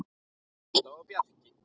Ásta og Bjarki.